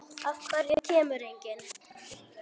Af hverju kemur enginn?